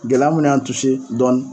Gɛlɛya mun y'an dɔɔnin.